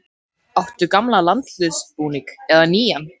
Áttu gamlan landsliðsbúning, eða nýjan?